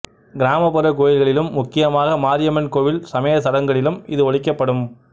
கிராமப்புற கோயில்களிலும் முக்கியமாக மாரியம்மன் கோவில் சமயச் சடங்குகளிலும் இது ஒலிக்கப்படும்